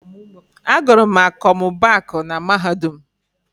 Agụrụ m akọmmụbaaku na Mahadum.